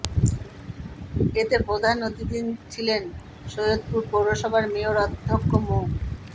এতে প্রধান অতিথি ছিলেন সৈয়দপুর পৌরসভার মেয়র অধ্যক্ষ মো